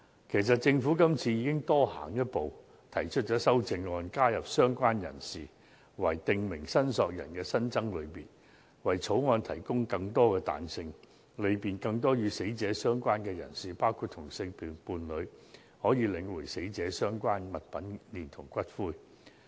其實，政府今次已經多行一步，提出修正案，加入"相關人士"為"訂明申索人"的新增類別，為《條例草案》提供更多彈性，利便更多與死者相關的人士，包括同性伴侶，領回死者相關物品連同骨灰。